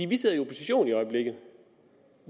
vi sidder i opposition i øjeblikket